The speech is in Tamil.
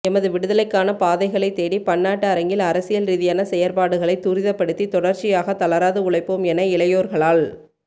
எமது விடுதலைக்கான பாதைகளை தேடி பன்னாட்டு அரங்கில் அரசியல் ரீதியான செயற்பாடுகளை துரிதப்படுத்தி தொடர்ச்சியாக தளராது உழைப்போம் என இளையோர்களால்